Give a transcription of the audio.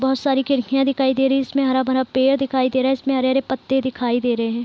बहोत सारी खिड़कियाँ दिखाई दे रही इसमें हरा-भरा पेड़ दिखाई दे रहा इसमें हरे-हरे पत्ते दिखाई दे रहे ।